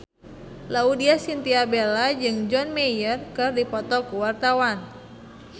Laudya Chintya Bella jeung John Mayer keur dipoto ku wartawan